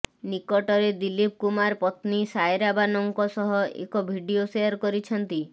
ନିକଟରେ ଦିଲୀପ କୁମାର ପତ୍ନୀ ସାୟରା ବାନୋଙ୍କ ସହ ଏକ ଭଭିଡିଓ ଶେୟାର କରିଛନ୍ତି